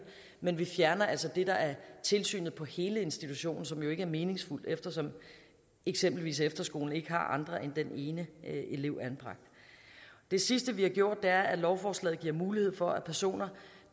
men vi fjerner altså det der er tilsynet på hele institutionen som jo ikke er meningsfuldt eftersom eksempelvis efterskolen ikke har andre end den ene elev anbragt det sidste vi har gjort er at lovforslaget giver mulighed for at personer